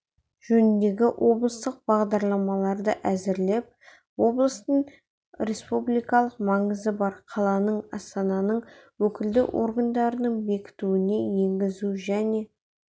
жөніндегі облыстық бағдарламаларды әзірлеп облыстың республикалық маңызы бар қаланың астананың өкілді органының бекітуіне енгізу және